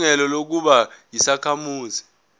ilungelo lokuba yisakhamuzi